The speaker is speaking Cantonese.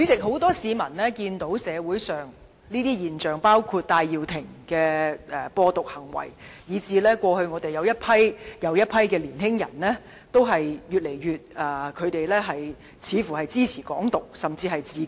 很多市民見到社會上這些現象，包括戴耀廷的"播獨"行為，以致一批又一批的年輕人越來越支持"港獨"，甚至自決。